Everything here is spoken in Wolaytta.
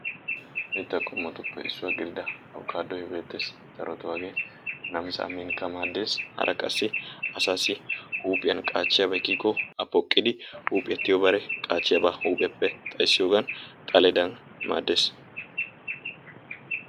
Mitaa qommotuppe issuwa gididda abokaadoy beetees, darotoo hagee namisaa minikka maadees. Hara qassi asaassi huuphiyan qaachiyaabay kiyikko A poqqidi huuphiya tiyikko qaachiyaaba huuphiyappe xayssiyogan xaledan maadees,